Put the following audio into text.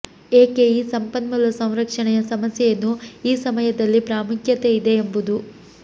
ಏಕೆ ಈ ಸಂಪನ್ಮೂಲ ಸಂರಕ್ಷಣೆಯ ಸಮಸ್ಯೆಯನ್ನು ಈ ಸಮಯದಲ್ಲಿ ಪ್ರಾಮುಖ್ಯತೆ ಇದೆ ಎಂಬುದು